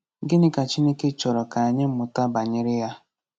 Gịnị ka Chineke chọrọ ka anyị mụta banyere ya?